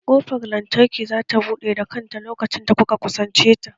Ƙofar lantarki za ta buɗe da kanta lokacin da kuka kusance ta